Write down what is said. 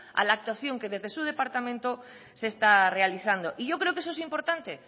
a la actuación que desde su departamento se está realizando y yo creo que eso es importante